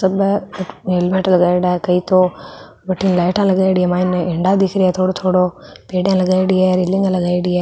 सब है अठ हेलमेट लगायोड़ा है कई तो बठीने लाइटा लगाईडी है मायने हिण्डा दिख रिया है थोड़ो थोड़ो पेडिया लगाईडी है रैलिंग लगाईडी है।